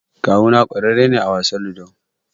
Kawuna ƙararre ne a wasan Ludo.